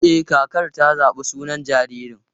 E, kakar ta zaɓi sunan jaririn.